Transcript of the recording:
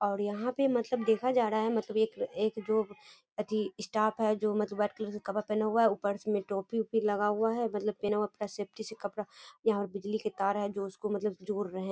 और यहाँ पे मतलब देखा जा रहा है मतलब एक एक जो अथी स्टाफ है जो मतलब व्हाइट कलर के कपड़ा पहने हुआ है ऊपर से उसमें टोपी-वोपी लगा हुआ है मतलब पहना हुआ है पूरा सेफटी से कपड़ा यहाँ बिजली की तार है जो इसको मतलब जोड़ रहे हैं।